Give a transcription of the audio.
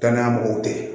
Danaya mɔgɔw te yen